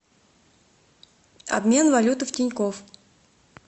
обмен валюты в тинькофф